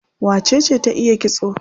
Wacece ta iya kitso?